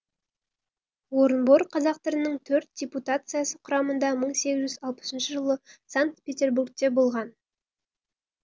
орынбор қазақтарының төрт депутациясы құрамында мың сегіз жүз алпысыншы жылы санкт петербургте болған